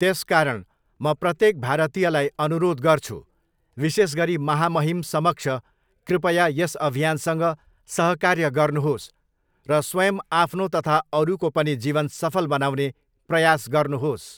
त्यसकारण म प्रत्येक भारतीयलाई अनुराेध गर्छु विशेषगरी महामहिम समक्ष कृपया यस अभियानसँग सहकार्य गर्नुहाेस् र स्वयं अाफ्नाे तथा अरूकाे पनि जीवन सफल बनाउने प्रयास गर्नुहाेस्।